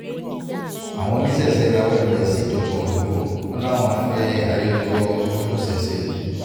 àwọn onísẹ̀se rawọ́ ẹ̀bẹ̀ síjọba ondo wọn làwọn ń fẹ́ àyájọ́ ọdún ìṣesé